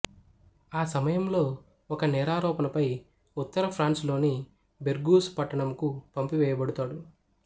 ఆ సమయంలో ఒక నేరారోపణపై ఉత్తర ఫ్రాన్స్ లోని బెర్గూస్ పట్టణముకు పంపివేయబడుతాడు